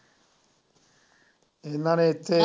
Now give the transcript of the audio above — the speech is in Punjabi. ਇਹਨਾ ਨੇ ਇੱਥੇ